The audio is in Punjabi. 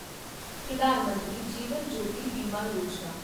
ਪ੍ਰਧਾਨ ਮੰਤਰੀ ਜੀਵਨ ਜੋਤੀ ਬੀਮਾ ਯੋਜਨਾ